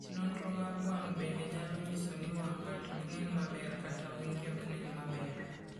Nonro mag wang' bende nyalo nyiso ni wang' ng'ato ok nen maber kata wang'e ok nen maber.